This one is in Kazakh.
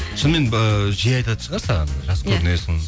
шынымен жиі айтатын шығар саған жас көрінесің